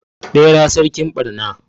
Bera sarkin barna